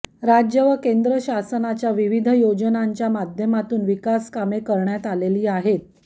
राज्य व केंद्र शासनाच्या विविध योजनांच्या माध्यमातून विकासकामे करण्यात आलेली आहेत